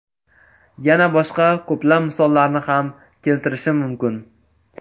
Yana boshqa ko‘plab misollarni ham keltirishim mumkin.